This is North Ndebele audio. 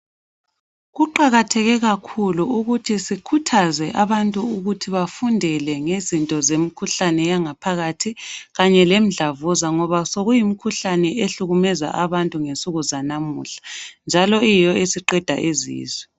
Kuqakatheke kakhulu ukuthi sikhuthaze abantu ukuthi bazivikele kumikhuhlane yangaphakathi ukuze bazivikele kulimikhuhlane njalo siqeda bantu.